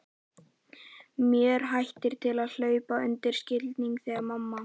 Mér hættir til að hlaupast undan skilningi, segir mamma.